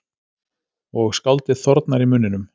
Og skáldið þornar í munninum.